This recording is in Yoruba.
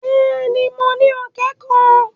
Bẹ́ẹ̀ ni, mo ní ọ̀kẹ́ kan.